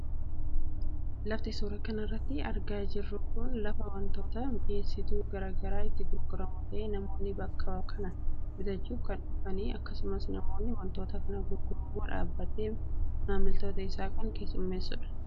Lafti suura kanarratti argaa jirru kun lafa wantootni mi'eessituu gara garaa itti gurguramu ta'ee namoonni bakka kanaa bitachuuf kan dhufanidha akkasumas namni wantoota kana gurgurummoo dhaababatee maamiltoota isaa kan keessumeessudha.